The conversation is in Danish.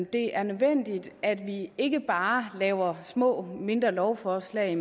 det er nødvendigt at vi ikke bare laver små mindre lovforslag